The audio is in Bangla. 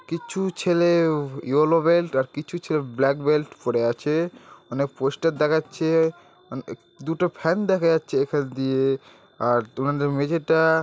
কিচ্ছু ছেলেও ইয়েলো বেল্ট আর কিচ্ছু ছেলে ব্ল্যাক বেল্ট পড়ে আছে | অনেক পোস্টের দেখাচ্ছে | দুটো ফ্যান দেখা যাচ্ছে | এখান দিয়ে আর তোমাদের মেঝেটা--